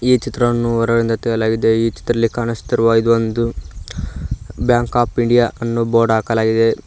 ಈ ಚಿತ್ರವನ್ನು ಹೊರಗಿಂದ ತೆಗೆಯಲಾಗಿದೆ ಈ ಚಿತ್ರದಲ್ಲಿ ಕಾಣಿಸುತ್ತಿರುವ ಇದೊಂದು ಬ್ಯಾಂಕ್ ಆಫ್ ಇಂಡಿಯಾ ಅನ್ನೋ ಬೋರ್ಡ್ ಹಾಕಲಾಗಿದೆ.